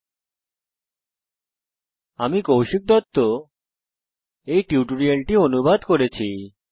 http spoken tutorialorgnmeict intro আমি কৌশিক দত্ত এই টিউটোরিয়ালটি অনুবাদ করেছি